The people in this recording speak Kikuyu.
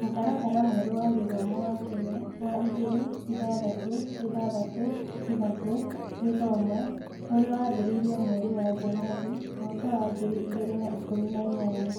Mũtaratara mwerũ wa gĩthomo wa Kenya (wa igĩrĩ-ithathatũ-ithathatũ-ithatũ gĩthomo), ũrĩa wambĩrĩirio mweri wa January mwaka wa ngiri igĩrĩ na ikũmi na inyanya.